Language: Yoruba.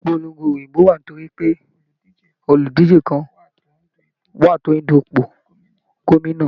Ìpolongo ìbò wá nítorí pé oludije kán wá tó ń dù ipò gómìnà.